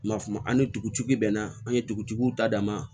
Ma famu ani dugutigi bɛ naa an ye dugutigiw ta dama